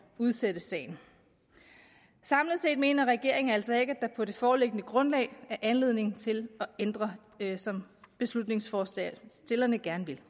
udsætte sagen samlet set mener regeringen altså ikke at der på det foreliggende grundlag er anledning til at ændre som beslutningsforslagsstillerne gerne vil